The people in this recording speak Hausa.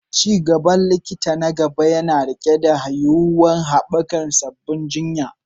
Ci gaban likita na gaba yana riƙe da yuwuwar haɓaka sabbin jinya.